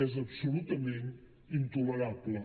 és absolutament intolerable